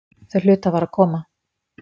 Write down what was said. Þau hlutu að fara að koma.